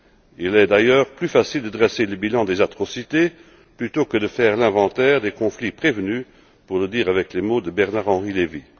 Il est d'ailleurs plus facile de dresser le bilan des atrocités plutôt que de faire l'inventaire des conflits prévenus pour le dire avec les mots de Bernard Henri Levy.